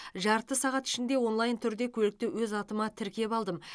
жарты сағат ішінде онлайн түрде көлікті өз атыма тіркеп алдым